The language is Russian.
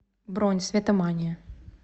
бронь светомания